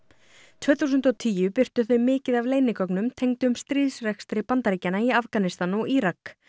tvö þúsund og tíu birtu þau mikið af leynigögnum tengdum stríðsrekstri Bandaríkjanna í Afganistan og Írak